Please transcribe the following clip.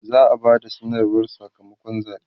za'a Bada sanarwar Saka makon zaɓe